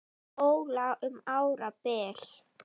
Óla um árabil.